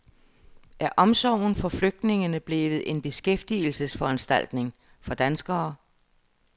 Er omsorgen for flygtningene blevet en beskæftigelsesforanstaltning for danskere?